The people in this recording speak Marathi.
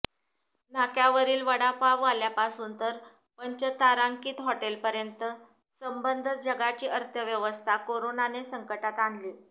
नाक्यावरील वडापाववाल्यापासून तर पंचतारांकित हॉटेलपर्यंत सबंध जगाची अर्थव्यवस्था करोनाने संकटात आणली